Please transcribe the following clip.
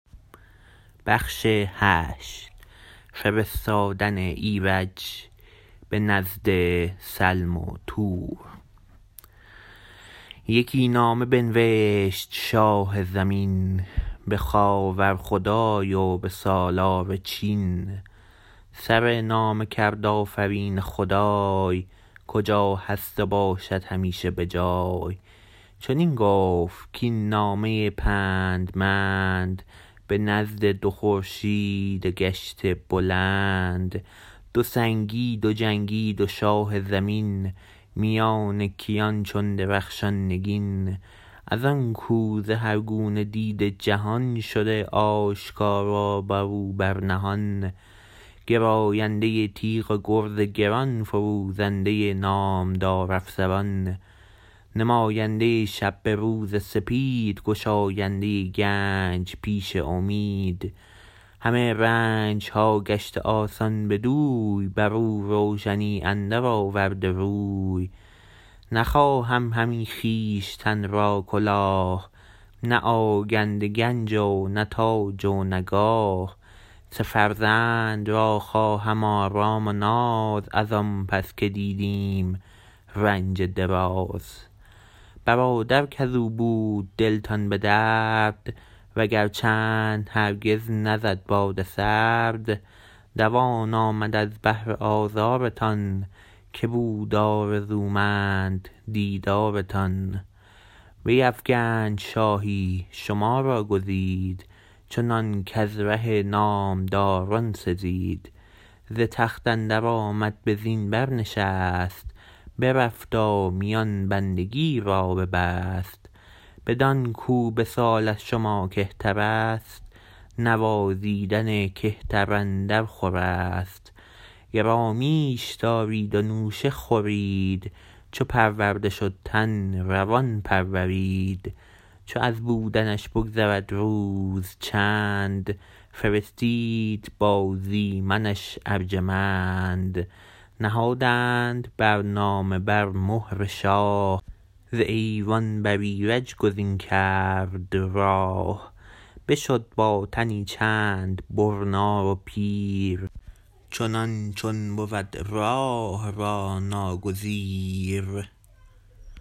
یکی نامه بنوشت شاه زمین به خاور خدای و به سالار چین سر نامه کرد آفرین خدای کجا هست و باشد همیشه به جای چنین گفت کاین نامه پندمند به نزد دو خورشید گشته بلند دو سنگی دو جنگی دو شاه زمین میان کیان چون درخشان نگین از آنکو ز هر گونه دیده جهان شده آشکارا برو بر نهان گراینده تیغ و گرز گران فروزنده نامدار افسران نماینده شب به روز سپید گشاینده گنج پیش امید همه رنجها گشته آسان بدوی برو روشنی اندر آورده روی نخواهم همی خویشتن را کلاه نه آگنده گنج و نه تاج و نه گاه سه فرزند را خواهم آرام و ناز از آن پس که دیدیم رنج دراز برادر کزو بود دلتان به درد وگر چند هرگز نزد باد سرد دوان آمد از بهر آزارتان که بود آرزومند دیدارتان بیفگند شاهی شما را گزید چنان کز ره نامداران سزید ز تخت اندر آمد به زین برنشست برفت و میان بندگی را ببست بدان کو به سال از شما کهترست نوازیدن کهتر اندر خورست گرامیش دارید و نوشه خورید چو پرورده شد تن روان پرورید چو از بودنش بگذرد روز چند فرستید با زی منش ارجمند نهادند بر نامه بر مهر شاه ز ایوان بر ایرج گزین کرد راه بشد با تنی چند برنا و پیر چنان چون بود راه را ناگزیر